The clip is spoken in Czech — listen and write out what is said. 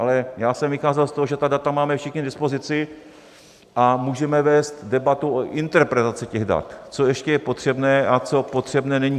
Ale já jsem vycházel z toho, že ta data máme všichni k dispozici, a můžeme vést debatu o interpretaci těch dat, co je ještě potřebné a co potřebné není.